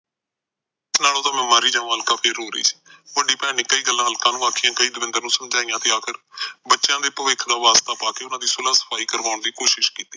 ਇਸ ਨਾਲੋਂ ਤਾ ਮੈ ਮਰ ਹੀ ਜਾਵਾ ਅਲਕਾ ਰੋਂਅ ਰਹਿ ਏ ਵੱਡੀ ਭੈਣ ਨੇ ਕਈ ਗੱਲਾ ਅਲਕਾ ਨੂੰ ਆਖੀਏ ਤੇ ਦਵਿੰਦਰ ਨੂੰ ਸਮਝਾਈਆ ਆਖ਼ਰ ਬੱਚਿਆਂ ਦੇ ਭਵਿੱਖ ਦਾ ਵਾਸਤਾ ਪਾ ਕੇ ਉਹਨਾਂ ਦੀ ਸੁਲਾਹ ਸਫਾਈ ਕਰਵਾਉਣ ਦੀ ਕੋਸ਼ਿਸ਼ ਕੀਤੀ